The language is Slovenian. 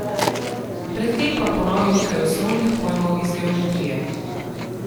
Pred tem pa ponovi nekaj osnovnih pojmov iz geometrije.